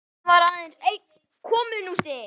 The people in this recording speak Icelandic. Í henni var aðeins einn kommúnisti